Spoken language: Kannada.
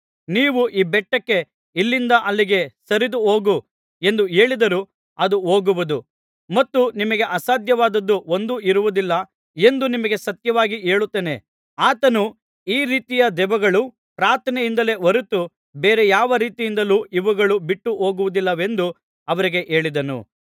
ನೀವು ಈ ಬೆಟ್ಟಕ್ಕೆ ಇಲ್ಲಿಂದ ಅಲ್ಲಿಗೆ ಸರಿದು ಹೋಗು ಎಂದು ಹೇಳಿದರೂ ಅದು ಹೋಗುವುದು ಮತ್ತು ನಿಮಗೆ ಅಸಾಧ್ಯವಾದುದು ಒಂದೂ ಇರುವುದಿಲ್ಲ ಎಂದು ನಿಮಗೆ ಸತ್ಯವಾಗಿ ಹೇಳುತ್ತೇನೆ ಆತನು ಈ ರೀತಿಯ ದೆವ್ವಗಳು ಪ್ರಾರ್ಥನೆಯಿಂದಲೇ ಹೊರತು ಬೇರೆ ಯಾವರೀತಿಯಿಂದಲೂ ಇವುಗಳು ಬಿಟ್ಟು ಹೋಗುವುದಿಲ್ಲವೆಂದು ಅವರಿಗೆ ಹೇಳಿದನು